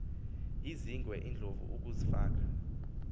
izingwe iindlovu ukuzfaka